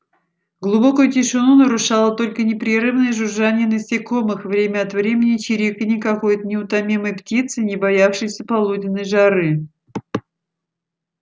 глубокую тишину нарушало только непрерывное жужжание насекомых время от времени чириканье какой-то неутомимой птицы не боявшейся полуденной жары